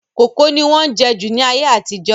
Kókò ni wọ́n jẹ́ jù ní ayé àtijọ́